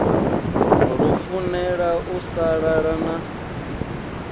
lufunela u sa lala na